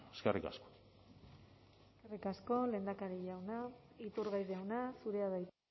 eskerrik asko eskerrik asko lehendakari jauna iturgaiz jauna zurea da hitza